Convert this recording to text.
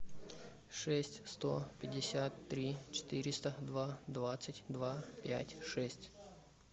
шесть сто пятьдесят три четыреста два двадцать два пять шесть